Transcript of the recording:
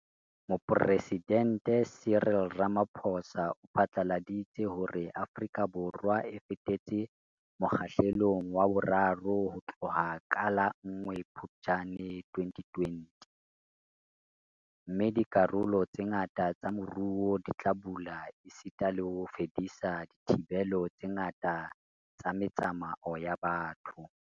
Mopresidente Cyril Ramaphosa o phatlaladitse hore Afrika Borwa e fetetse Mo kgahlelong wa 3 ho tloha ka la 1 Phuptjane 2020 - mme dikarolo tse ngata tsa moruo di tla bula esita le ho fedisa dithibelo tse ngata tsa me tsamao ya batho.